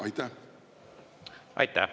Aitäh!